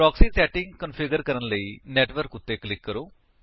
proxy setting configure ਕਰਨ ਲਈ network ਉੱਤੇ ਕਲਿਕ ਕਰੋ